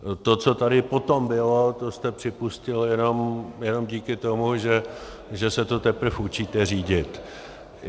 To, co tady potom bylo, to jste připustil jenom díky tomu, že se to teprve učíte řídit.